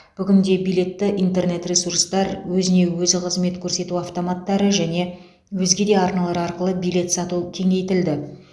бүгінде билетті интернет ресурстар өзіне өзі қызмет көрсету автоматтары және өзге де арналар арқылы билет сату кеңейтілді